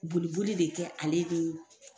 Boliboli de kɛ ale de ye.